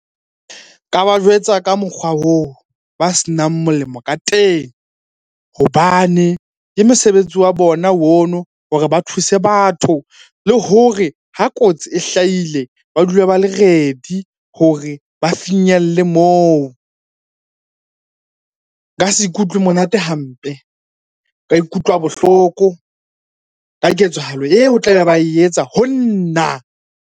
Nka ba jwetsa ka mokgwa oo ba senang molemo ka teng hobane ke mosebetsi wa bona ono hore ba thuse batho. Le hore ha kotsi e hlahile ba dule ba le ready hore ba finyelle moo. Nka se ikutlwe monate hampe, nka ikutlwa bohloko ka ketsahalo eo tlabe ba e etsa ho nna.